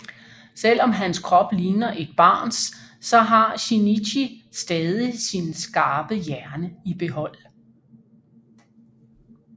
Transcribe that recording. Selv om hans krop ligner et barns så har Shinichi stadig sin skarpe hjerne i behold